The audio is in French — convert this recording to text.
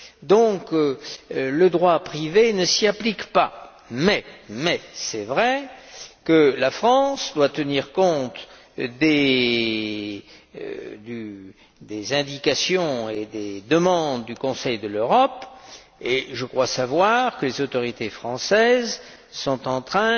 Donc, le droit privé ne s'y applique pas, mais il est un fait que la France doit tenir compte des indications et des demandes du Conseil de l'Europe et je crois savoir que les autorités françaises sont en train